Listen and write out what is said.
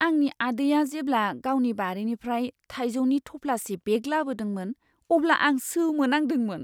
आंनि आदैआ जेब्ला गावनि बारिनिफ्राय थाइजौनि थफ्लासे बेग लाबोदोंमोन, अब्ला आं सोमोनांदोंमोन!